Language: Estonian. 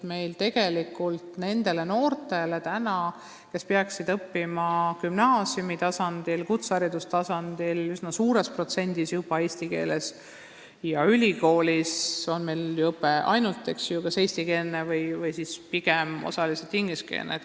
Tegelikult on praegu gümnaasiumitasandil ja kutseharidustasandil õpe üsna suures protsendis juba eesti keeles ja ülikoolis on õpe ainult kas eestikeelne või pigem osaliselt ingliskeelne.